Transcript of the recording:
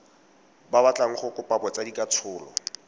ba batlang go kopa botsadikatsholo